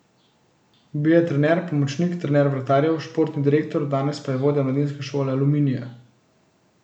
Bil je trener, pomočnik, trener vratarjev, športni direktor, danes pa je vodja mladinske šole Aluminija.